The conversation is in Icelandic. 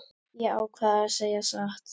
Ég ákvað að segja satt.